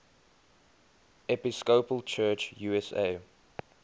episcopal church usa